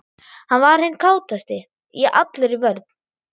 Hann var hinn kátasti, ég allur í vörn.